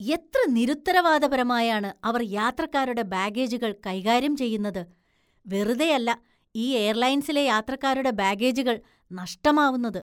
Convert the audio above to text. എത്ര നിരുത്തരവാദപരമായാണ് അവര്‍ യാത്രക്കാരുടെ ബാഗേജുകള്‍ കൈകാര്യം ചെയ്യുന്നത്, വെറുതെയല്ല ഈ എയര്‍ലൈന്‍സിലെ യാത്രക്കാരുടെ ബാഗേജുകള്‍ നഷ്ടമാവുന്നത്.